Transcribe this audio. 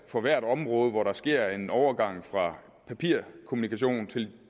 for hvert område hvor der sker en overgang fra papirkommunikation til